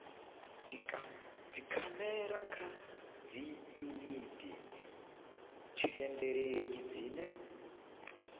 dzikhamera kha dziyuniti thendeleki dzine